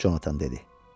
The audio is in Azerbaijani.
Conatan dedi.